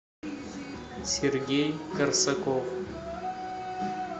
сергей корсаков